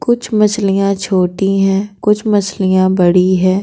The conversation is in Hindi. कुछ मछलियां छोटी हैं कुछ मछलियां बड़ी हैं।